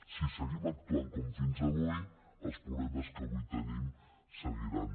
si seguim actuant com fins avui els problemes que avui tenim seguiran